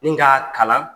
Ni k'a kalan